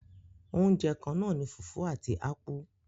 Oúnjẹ kannáà ní fùfú àti ápú.